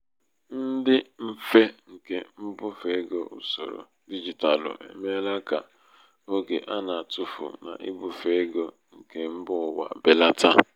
ịdị mfe nke mbufe ego usoro digitalụ emeela ka oge ana-atufu n'ibufe ego nke mba ụwa belata.